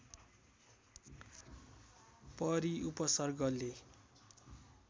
परि उपसर्गले